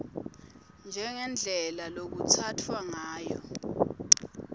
njengendlela lekutsatfwa ngayo